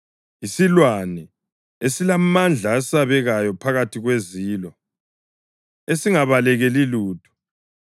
yisilwane, esilamandla esabekayo phakathi kwezilo, esingabalekeli lutho;